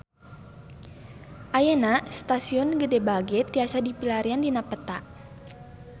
Ayeuna Stasiun Gede Bage tiasa dipilarian dina peta